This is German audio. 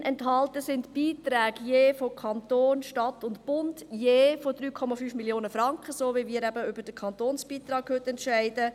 Darin enthalten sind die Beiträge von Stadt, Kanton und Bund von je 3,5 Mio. Franken, so wie wir heute eben über den Kantonsbeitrag entscheiden.